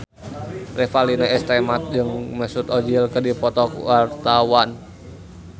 Revalina S. Temat jeung Mesut Ozil keur dipoto ku wartawan